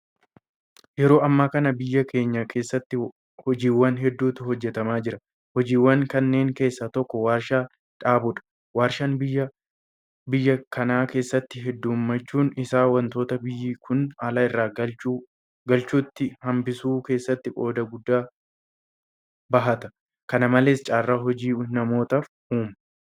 Yeroo ammaa kana biyya keenya keessatti hojiiwwaan hedduutu hejjetamaa jira. Hojiiwwan kanneen keessaa tokko warshaa dhaabuudha. Warshaan biyya kana keessatti heddummachuun isaa waantota biyyi kun ala irraa galchitu hambisuu keessatti qooda guddaa bahata. Kana malees carraa hojii namootaaf uuma.